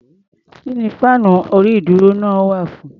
Kí ni fáànú orí-ìdúró náà wà fún?